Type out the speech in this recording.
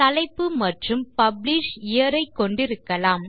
தலைப்பு மற்றும் publish year ஐ கொண்டிருக்கலாம்